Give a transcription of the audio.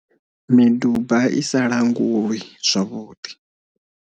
Miduba i sa langulwi zwavhuḓi.